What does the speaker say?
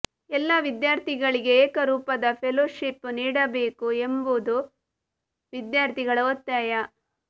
ಎಲ್ಲಾ ವಿದ್ಯಾರ್ಥಿಗಳಿಗೆ ಏಕ ರೂಪದ ಫೆಲೋಶಿಪ್ ನೀಡಬೇಕು ಎಂಬುದು ವಿದ್ಯಾರ್ಥಿಗಳ ಒತ್ತಾಯ